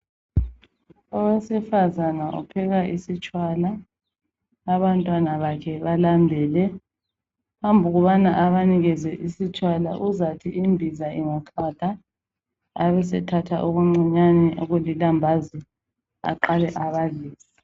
Owesifazana upheka isitshwala, abantwana bakhe balambile. Andubana abanikeze isitshwala, azathi imbiza isiqwatha, abesethatha ukuncinyani okuyilambazi aqale abanike.